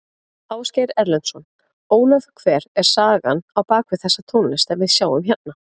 Ásgeir Erlendsson: Ólöf hver er sagan á bak við þessa tónlist sem við sjáum hérna?